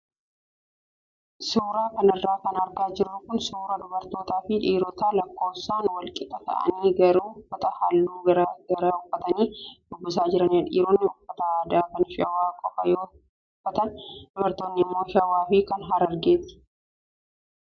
Suuraa kanarra kan argaa jirru kun suuraa dubarootaa fi dhiirota lakkoofsaan wal qixa ta'anii garuu uffata halluu garaagaraa uffatanii shubbisaa jiranidha. Dhiironni uffata aadaa kan shawaa qofaa yoo uffatan dubartoonni immoo shawaa fi kan harargeeti.